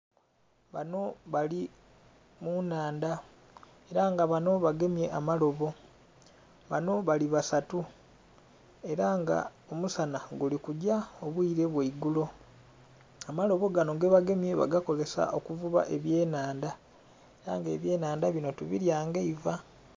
Banho bali munnhandha era nga banho bagemye amalobo, banho bali basatu era nga omusana guli kugya obwile bwa igulo, amalobo ganho gebagemye bagakozesa okugema ebye nnhandha era nga ebye nnhandha binho tubilya nga eiva.